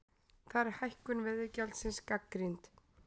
Þar er hækkun veiðigjaldsins gagnrýnd